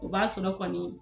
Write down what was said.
O b'a sɔrɔ kɔni